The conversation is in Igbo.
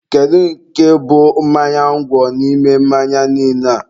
Kedu nke bụ mmanya ngwọ n'ime mmanya niile a?